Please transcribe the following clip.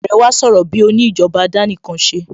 Àrẹ wá sọ̀rọ̀ bíi òní ìjọba àdánìkanṣeni